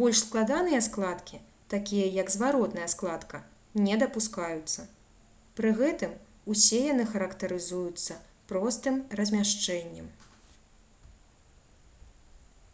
больш складаныя складкі такія як зваротная складка не дапускаюцца пры гэтым усе яны характарызуюцца простым размяшчэннем